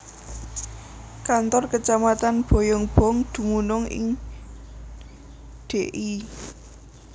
Kantor Kecamatan Bayongbong dumunung ing Dl